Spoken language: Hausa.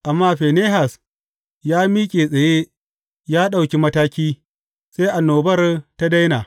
Amma Finehas ya miƙe tsaye ya ɗauki mataki, sai annobar ta daina.